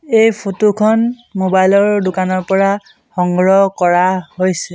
এই ফটো খন মোবাইল ৰ দোকানৰ পৰা সংগ্ৰহ কৰা হৈছে।